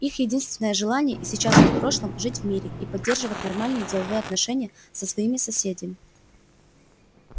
их единственное желание и сейчас и в прошлом жить в мире и поддерживать нормальные деловые отношения со своими соседями